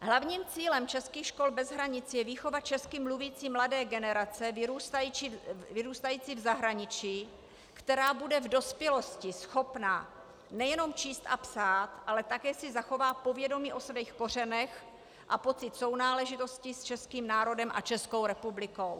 Hlavním cílem českých škol bez hranic je výchova česky mluvící mladé generace vyrůstající v zahraničí, která bude v dospělosti schopna nejenom číst a psát, ale také si zachová povědomí o svých kořenech a pocit sounáležitosti s českým národem a Českou republikou.